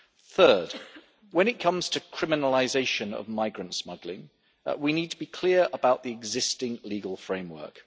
Third, when it comes to criminalisation of migrant smuggling, we need to be clear about the existing legal framework.